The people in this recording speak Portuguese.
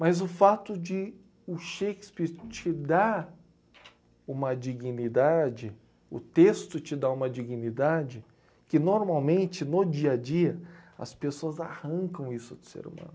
Mas o fato de o Shakespeare te dar uma dignidade, o texto te dá uma dignidade, que normalmente, no dia a dia, as pessoas arrancam isso do ser humano.